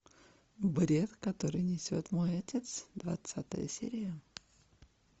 бред который несет мой отец двадцатая серия